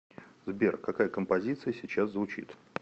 сбер какая композиция сейчас звучит